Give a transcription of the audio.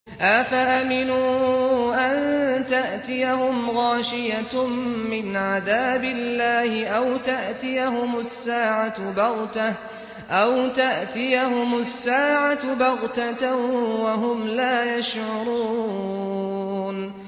أَفَأَمِنُوا أَن تَأْتِيَهُمْ غَاشِيَةٌ مِّنْ عَذَابِ اللَّهِ أَوْ تَأْتِيَهُمُ السَّاعَةُ بَغْتَةً وَهُمْ لَا يَشْعُرُونَ